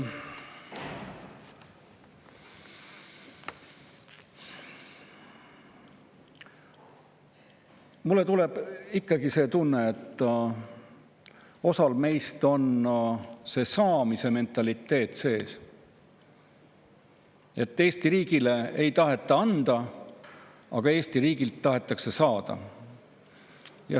Mul tekib ikkagi see tunne, et osal meist on sees see saamise mentaliteet, et Eesti riigile ei taheta anda, aga Eesti riigilt tahetakse saada.